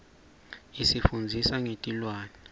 isifundzisa ngetilwane